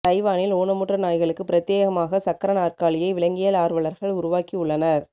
தைவானில் ஊனமுற்ற நாய்களுக்கு பிரத்யேகமாக சக்கர நாற்காலியை விலங்கியல் ஆர்வலர்கள் உருவாக்கி உள்ளனர்